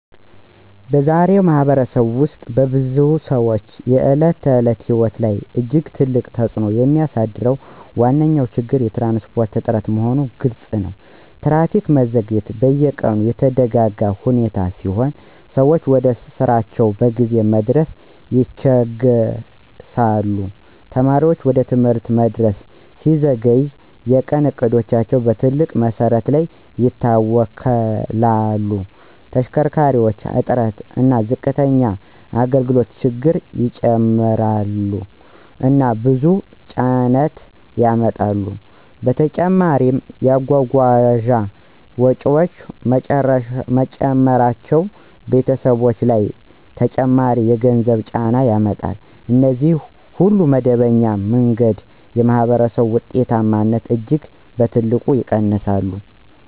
በዛሬ ማኅበረሰብ ውስጥ በብዙ ሰዎች የዕለት ተዕለት ሕይወት ላይ እጅግ ትልቅ ተጽእኖ የሚያሳድረው ዋነኛ ችግር የትራንስፖርት እጥረት መሆኑ ግልፅ ነው። ትራፊክ መዘግየት በየቀኑ የተደጋጋ ሁኔታ ሲሆን ሰዎች ወደ ስራቸው በጊዜ መድረስ ይቸገሣሉ። ተማሪዎች ወደ ትምህርት መድረስ ሲዘገይ የቀን እቅዶቻቸው በትልቅ መሰረት ይታወክላሉ። ተሽከርካሪ እጥረት እና ዝቅተኛ አገልግሎት ችግሩን ይጨምራሉ እና ብዙ ጭነት ያመጣሉ። በተጨማሪም የጓጓዣ ወጪዎች መጨመራቸው ቤተሰቦች ላይ ተጨማሪ የገንዘብ ጫና ያመጣል። እነዚህ ሁሉ በመደበኛ መንገድ የማኅበረሰብ ውጤታማነትን እጅግ በትልቅ ይቀንሳሉ